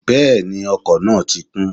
Bẹ́ẹ̀ni, ọkọ̀ náà ti kún